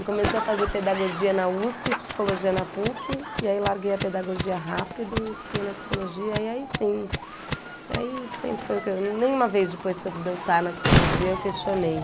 Eu comecei a fazer pedagogia na Usp, psicologia na Puc, e aí larguei a pedagogia rápido e fiquei na psicologia, e aí sim, aí sempre foi o que eu, nem uma vez depois que eu deu está na psicologia eu questionei.